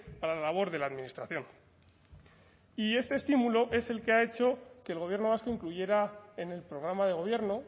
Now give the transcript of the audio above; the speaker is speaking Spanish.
para la labor de la administración y este estímulo es el que ha hecho que el gobierno vasco incluyera en el programa de gobierno